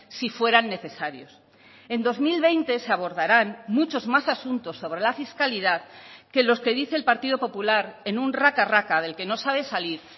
si fueran necesarios en dos mil veinte se abordarán muchos más asuntos sobre la fiscalidad que los que dice el partido popular en un raca raca del que no sabe salir